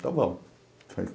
Então vamos.